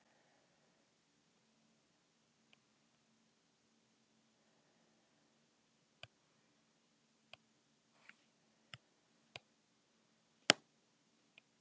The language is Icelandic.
Sólin okkar er hins vegar að langmestu leyti úr vetni, að þremur fjórðu hlutum.